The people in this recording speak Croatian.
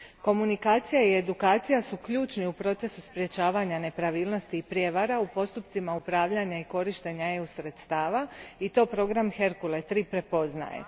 Komunikacija i edukacija su ključni u procesu sprječavanja nepravilnosti i prijevara u postupcima upravljanja i korištenja EU sredstava i to program Hercule III prepoznaje.